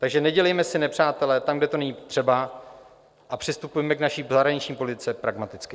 Takže nedělejme si nepřátele tam, kde to není třeba, a přistupujme k naší zahraniční politice pragmaticky.